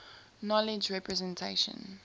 knowledge representation